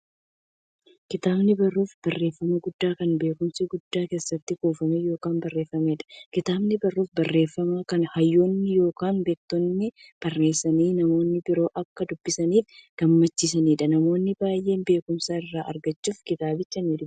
Kitaabni barruu barreeffamaa guddaa, kan beekumsi guddaan keessatti kuufame yookiin barreefameedha. Kitaabni barruu barreeffamaa, kan hayyoonni yookiin beektonni barreessanii, namni biroo akka dubbisaniif gumaachaniidha. Namoonni baay'eenis beekumsa irraa argachuuf kitaabicha nidubbisu.